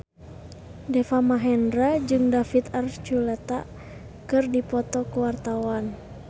Deva Mahendra jeung David Archuletta keur dipoto ku wartawan